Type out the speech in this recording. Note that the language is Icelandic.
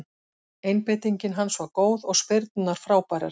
Einbeitingin hans var góð og spyrnurnar frábærar.